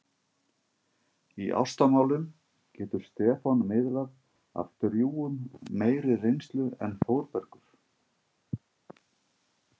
Í ástamálum getur Stefán miðlað af drjúgum meiri reynslu en Þórbergur.